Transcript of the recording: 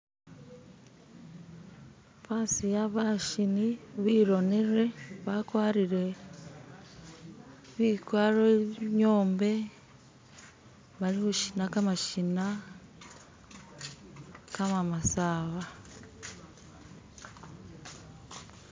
basiya bashini bironile bakwarire bikwaro inyombe balishukhina kamashina kamamasaba.